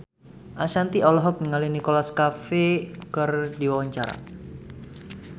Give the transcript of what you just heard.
Ashanti olohok ningali Nicholas Cafe keur diwawancara